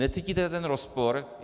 Necítíte ten rozpor?